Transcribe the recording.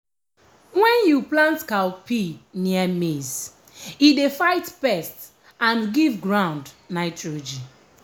when you plant cowpea near maize e dey fight pest and give ground nitrogen.